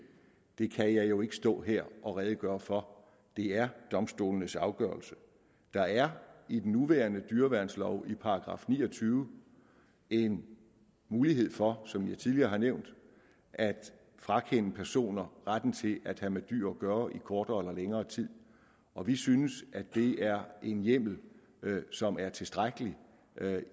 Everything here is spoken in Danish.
kan jeg jo ikke stå her og redegøre for det er domstolenes afgørelser der er i den nuværende dyreværnslov i § ni og tyve en mulighed for som jeg tidligere har nævnt at frakende personer retten til at have med dyr at gøre i kortere eller længere tid og vi synes at det er en hjemmel som er tilstrækkelig